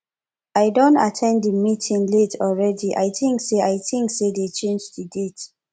i don at ten d the meeting late already i think say i think say dey change the date